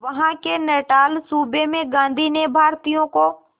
वहां के नटाल सूबे में गांधी ने भारतीयों को